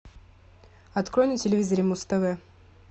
открой на телевизоре муз тв